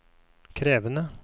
krevende